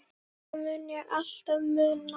Það mun ég alltaf muna.